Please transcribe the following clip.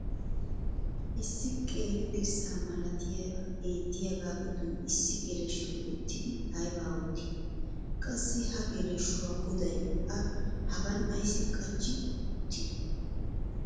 issi qeeri dirssa malatiya beetiyaagaa giddon issi geleshshoy uttidi aybaa ottii? qassi ha geleshshuwaa goday a hagan ayssi qachchi uttidee?